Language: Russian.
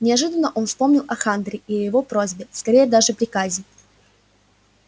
неожиданно он вспомнил о хантере и его просьбе скорее даже приказе